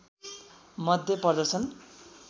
मध्ये पर्दछन्